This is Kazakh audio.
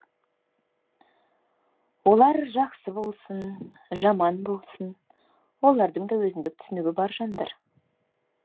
олар жақсы болсын жаман болсын олардың да өзіндік түсінігі бар жандар